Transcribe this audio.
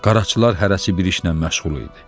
Qaraçılar hərəsi bir işlə məşğul idi.